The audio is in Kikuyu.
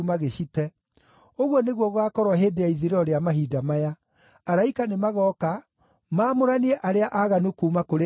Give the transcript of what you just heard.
Ũguo nĩguo gũgaakorwo hĩndĩ ya ithirĩro rĩa mahinda maya. Araika nĩmagooka maamũranie arĩa aaganu kuuma kũrĩ arĩa athingu,